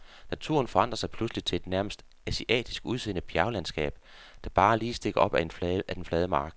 Naturen forandrer sig pludseligt til et nærmest asiatisk udseende bjerglandskab, der bare lige stikker op af den flade mark.